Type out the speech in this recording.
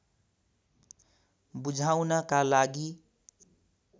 बुझाउनका लागि